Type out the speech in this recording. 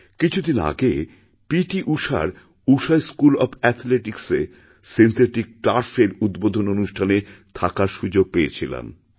কিছুদিন আগে পিটিঊষার ঊষাস্কুল অফ অ্যাথলেটিক্সএ সিন্থেটিক টার্ফএর উদ্বোধন অনুষ্ঠানে থাকার সুযোগপেয়েছিলাম